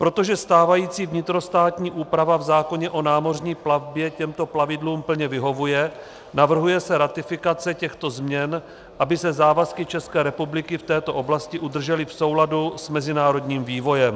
Protože stávající vnitrostátní úprava v zákoně o námořní plavbě těmto plavidlům plně vyhovuje, navrhuje se ratifikace těchto změn, aby se závazky České republiky v této oblasti udržely v souladu s mezinárodním vývojem.